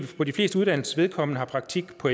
for de fleste uddannelsers vedkommende har praktik på